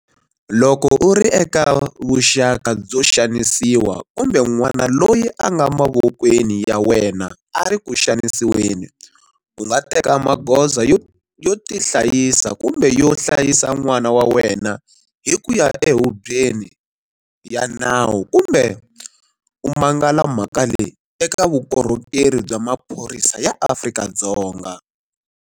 Loko u ri eka vuxaka byo xanisiwa kumbe n'wana loyi a nga mavokweni ya wena a ri ku xanisiweni, u nga teka magoza yo tihlayisa kumbe yo hlayisa n'wana wa wena hi ku ya ehubyeni ya nawu kumbe u mangala mhaka leyi eka Vukorhokerhi bya Maphorisa ya Afrika-Dzonga.